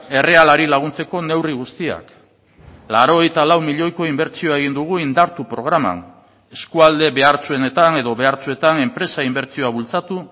errealari laguntzeko neurri guztiak laurogeita lau milioiko inbertsioa egin dugu indartu programan eskualde behartsuenetan edo behartsuetan enpresa inbertsioa bultzatu